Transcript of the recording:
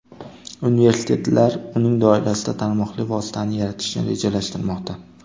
Universitetlar uning doirasida tarmoqli vositani yaratishni rejalashtirmoqda.